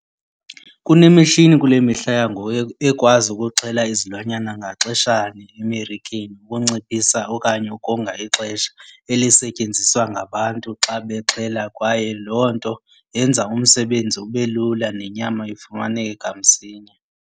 Kunemishini kule mihla yangoku ekwazi ukuxhela izilwanyana ngaxeshanye emarikeni ukunciphisa okanye ukonga ixesha elisetyenziswa ngabantu xa bexhela kwaye loo nto yenza umsebenzi ube lula nenyama ifumaneke kamsinya.